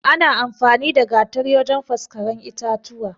Ana amfani da Gatari wajan faskaren itatuwa